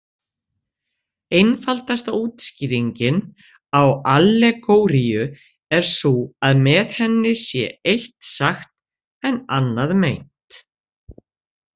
Einfaldasta útskýringin á allegóríu er sú að með henni sé eitt sagt en annað meint.